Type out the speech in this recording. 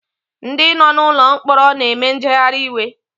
Ndi no nụlọ mkpọrọ na-eme njeghari iwe